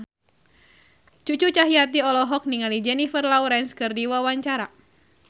Cucu Cahyati olohok ningali Jennifer Lawrence keur diwawancara